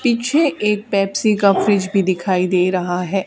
पीछे एक पेप्सी का फ्रिज भी दिखाई दे रहा है।